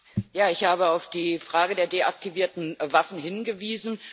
Ja, ich habe auf die Frage der deaktivierten Waffen hingewiesen.